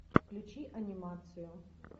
включи анимацию